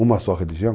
Uma só religião?